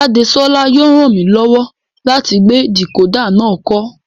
Jadesola yóò ràn mí lọ́wọ́ láti gbé dìkódà náà kọ́